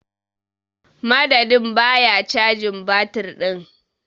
Madadin ba ya cajin batir din.